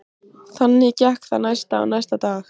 Þannig gekk það næsta og næsta dag.